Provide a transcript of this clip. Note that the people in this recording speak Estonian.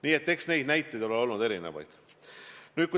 Nii et näiteid on olnud erinevaid.